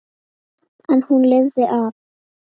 En hún lifði af.